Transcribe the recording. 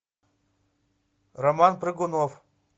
роман прыгунов